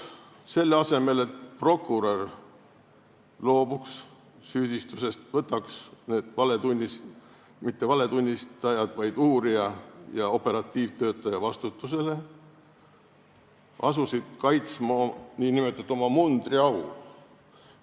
Selle asemel et prokurör loobuks süüdistusest ning võtaks uurija ja operatiivtöötaja vastutusele, asuti kaitsma nn oma mundriau.